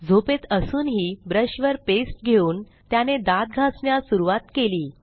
झोपेत असूनही ब्रशवर पेस्ट घेऊन त्याने दात घासण्यास सुरूवात केली